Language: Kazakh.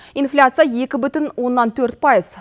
инфляция екі бүтін оннан төрт пайыз